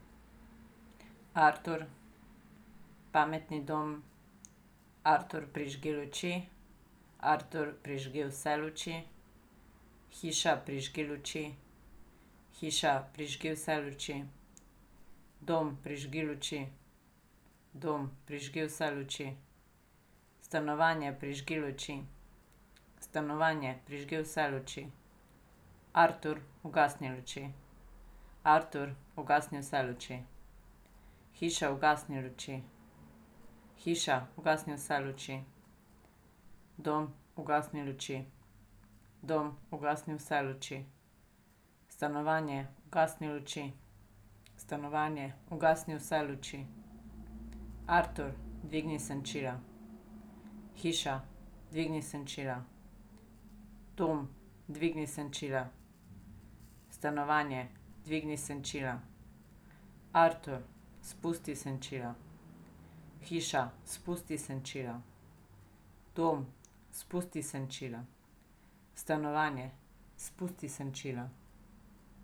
Artur. Pametni dom. Artur, prižgi luči. Artur, prižgi vse luči. Hiša, prižgi luči. Hiša, prižgi vse luči. Dom, prižgi luči. Dom, prižgi vse luči. Stanovanje, prižgi luči. Stanovanje, prižgi vse luči. Artur, ugasni luči. Artur, ugasni vse luči. Hiša, ugasni luči. Hiša, ugasni vse luči. Dom, ugasni luči. Dom, ugasni vse luči. Stanovanje, ugasni luči. Stanovanje, ugasni vse luči. Artur, dvigni senčila. Hiša, dvigni senčila. Dom, dvigni senčila. Stanovanje, dvigni senčila. Artur, spusti senčila. Hiša, spusti senčila. Dom, spusti senčila. Stanovanje, spusti senčila.